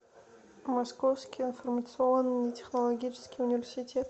московский информационно технологический университет